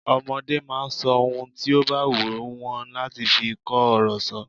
Ọmọde máa ń sọ ohun tí ó bá wù wọ́n láti fi kó ọ̀rọ̀ sọ.